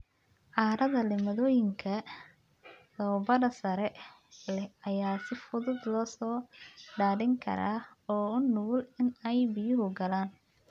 Carrada leh maaddooyinka dhoobada sare leh ayaa si fudud loo daadin karaa oo u nugul in ay biyuhu galaan.